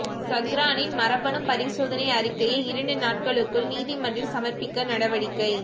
சஹ்ரானின் மரபணு பரிசோதனை அறிக்கையை இரண்டு நாட்களுக்குள் நீதிமன்றில் சமர்ப்பிக்க நடவடிக்கை